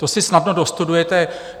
To si snadno dostudujete.